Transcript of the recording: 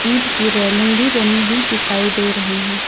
ईंट की रेलिंग भी बनी हुई दिखाई दे रही हैं।